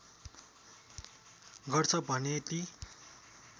गर्छ भने ती